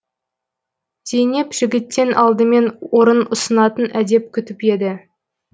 зейнеп жігіттен алдымен орын ұсынатын әдеп күтіп еді